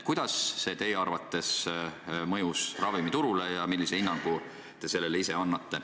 Kuidas see teie arvates mõjus ravimiturule ja millise hinnangu te sellele annate?